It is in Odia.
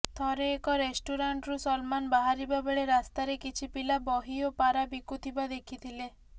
ଥରେ ଏକ ରେଷ୍ଟୁରାଣ୍ଟରୁ ସଲମାନ ବାହାରିବା ବେଳେ ରାସ୍ତାରେ କିଛି ପିଲା ବହି ଓ ପାରା ବିକୁଥିବା ଦେଖିଥିଲେ